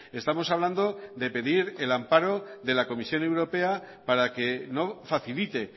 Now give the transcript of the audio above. estamos hablando de pedir el amparo de la comisión europea para que no facilite